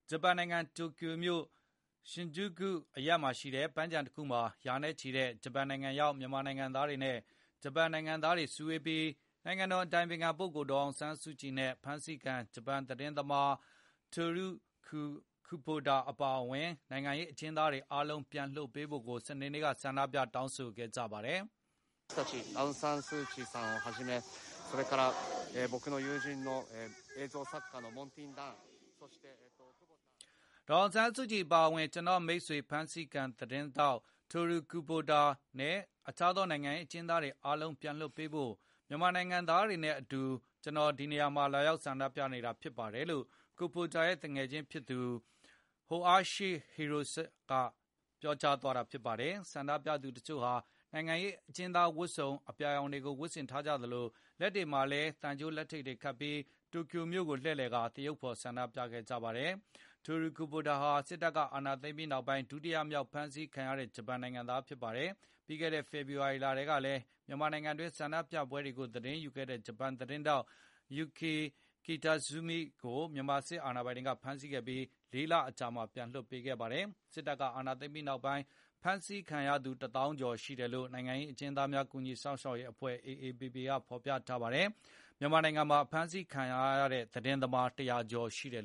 ဂျပန်နိုင်ငံ တိုကျိုမြို့ Shinjuku အရပ်မှာရှိတဲ့ ပန်းခြံတခုမှ ာရာနဲ့ချီတဲ့ ဂျပန်နိုင်ငံရောက် မြန်မာနိုင်ငံသားတွေနဲ့ ဂျပန်နိုင်ငံသားတွေစုဝေးပြီး နိုင်ငံတော်အတိုင်ပင်ခံ ပုဂ္ဂိုလ် ဒေါ်အောင်ဆန်းစုကြည်နဲ့ ဖမ်းဆီးခံ ဂျပန်သတင်းသမား တိုရုခူဘိုတာ အပါအဝင် နိုင်ငံရေး အကျဉ်းသားတွေအားလုံး ပြန်လွတ်ပေးဖို့ စနေနေ့က ဆန္ဒပြ တောင်းဆိုခဲ့ကြပါတယ်။ " ဒေါ်အောင်ဆန်းစုကြည် အပါအဝင် ကျနော့် မိတ်ဆွေ ဖမ်းဆီခံ သတင်းထောက် Toru Kubota နဲ့ အခြားသော နိုင်ငံရေးအကျဉ်းသားတွေ အားလုံး ပြန်လွှတ်ပေးဖို့ မြန်မာနိုင်ငံသားတွေနဲ့အတူ ကျနော်ဒီမှာ လာရောက် ဆန္ဒပြနေတာ ဖြစ်တယ်လို့ Kubota ရဲ့သူငယ်ချင်းဖြစ်သူ Hoashi Kyat Yoe Hirosuke က ပြောကြားသွားတာ ဖြစ်ပါတယ်။ ဆန္ဒပြသူ တချို့ဟာ နိုင်ငံရေး အကျဉ်းသားဝတ်စုံ အပြာရောင်ကို ဝတ်ဆင်ထားကြသလို၊ လက်တွေမှာလည်း သံကြိုး လက်ထိပ်တွေခတ်ပြီး တိုကျိုမြို့ ကို လှည့်လည်ကာ သရုပ်ဖေါ် ဆန္ဒပြခဲ့ကြတာပါ။ Toru Kubota ဟာ စစ်တပ် အာဏာသိမ်းပြီးနောက်ပိုင်း ဒုတိယမြောက် ဖမ်းဆီးခံရတဲ့ ဂျပန်နိုင်ငံသားဖြစ်ပါတယ်။ ပြီးခဲ့တဲ့နှစ် ဖေဖော်ဝါရီလ က လည်း မြန်မာနိုင်ငံတွင်း ဆန္ဒပြပွဲတွေကို သတင်းယူခဲ့တဲ့ ဂျပန်သတင်းထောက် Yuki Kitazumi ကို မြန်မာစစ်ကောင်စီက ဖမ်းဆီးခဲ့ပြီး ၄ လအကြာမှာ ပြန်လွှတ်ပေးခဲ့ပါတယ်။ စစ်တပ်ကအာဏသိမ်းပြီးနောက် ဖမ်းဆီးခံရသူ ၁ သောင်းကျော်ရှိတယ်လို့ နိုင်ငံရေးအကျဉ်းသားများစောင့်ရှောက်ရေးအဖွဲ့ AAPP က ဖေါ်ပြထားပါတယ်။ မြန်မာနိုင်ငံမှာ ဖမ်းဆီးခံထားရတဲ့ သတင်းသမား ၁၀၀ ကျော်ရှိပါတယ်